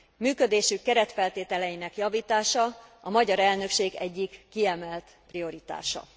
Működésük keretfeltételeinek javítása a magyar elnökség egyik kiemelt prioritása.